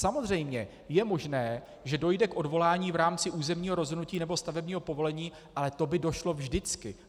Samozřejmě je možné, že dojde k odvolání v rámci územního rozhodnutí nebo stavebního povolení, ale to by došlo vždycky.